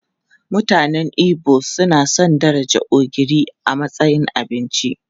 Mutanen Igbo sun san darajar ogiri a matsayin abinci.